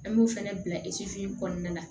An b'o fana bila eseye kɔnɔna la